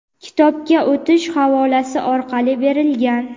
kitobga o‘tish havolasi orqali berilgan.